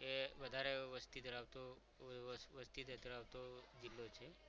તે વધારે વસ્તી ધરાવતો વસ્તી ધરાવતો જિલ્લો છે.